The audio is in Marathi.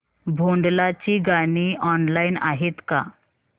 भोंडला ची गाणी ऑनलाइन आहेत का